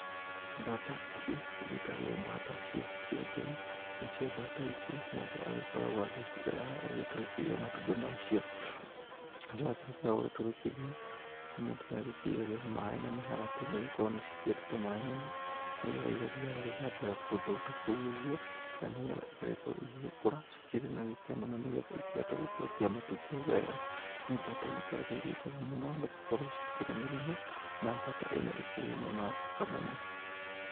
Mbata ici, cigĩtagwo mbata cia kĩengei. Nacio mbata icio mũndũ agĩkoragwo agĩcirera, ũgagĩtũrĩkithia matumbi macio. Agacoka akĩrĩkia gũgĩtũrĩkithia, mũndũ nĩagĩcigagĩra maĩ na mĩharatĩ nĩgũkorwo nĩcikĩendete maĩ mũno. Nĩgetha igathiaga gwĩthambĩra kũndũ ta kũu ũguo, na nĩgetha igagĩkorwo igĩgĩkũra cikĩrĩ na gĩkeno na nĩgetha ikĩhote gũkĩrekia matumbĩ wega. Nĩ mbata igĩkoragwo ĩkĩrĩ njega mũno, nĩgũkorwo citikĩrĩ mĩrimũ na mbata ĩno ĩkĩrĩ nyama thaka mũno.